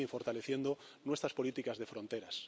Estamos también fortaleciendo nuestras políticas de fronteras.